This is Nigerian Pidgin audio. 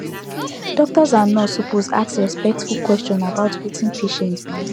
doctor and nurse suppose ask respectful question about wetin patient believe